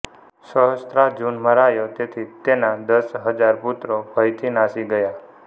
સહસ્ત્રાર્જુન મરાયો તેથી તેના દસ હજાર પુત્રો ભયથી નાસી ગયા